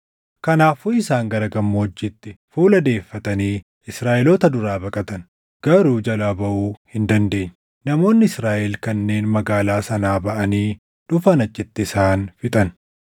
Kanaafuu isaan gara gammoojjiitti fuula deeffatanii Israaʼeloota duraa baqatan. Garuu jalaa baʼuu hin dandeenye. Namoonni Israaʼel kanneen magaalaa sanaa baʼanii dhufan achitti isaan fixan.